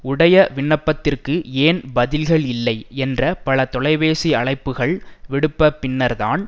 உடைய விண்ணப்பத்திற்கு ஏன் பதில்கள் இல்லை என்ற பல தொலைபேசி அழைப்புக்கள் விடுப்பபின்னர்தான்